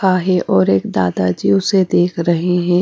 काहे और एक दादाजी उसे देख रहे हैं।